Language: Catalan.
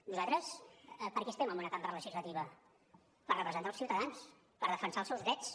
nosaltres per què estem en una cambra legislativa per representar els ciutadans per defensar els seus drets